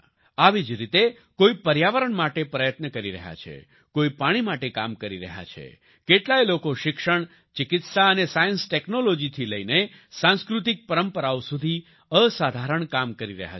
આવી જ રીતે કોઈ પર્યાવરણ માટે પ્રયત્ન કરી રહ્યા છે કોઈ પાણી માટે કામ કરી રહ્યા છે કેટલાય લોકો શિક્ષણ ચિકિત્સા અને સાયન્સ ટેક્નોલોજી થઈ લઈને સાંસ્કૃતિક પરંપરાઓ સુધી અસાધારણ કામ કરી રહ્યા છે